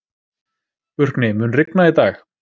Burkni, mun rigna í dag?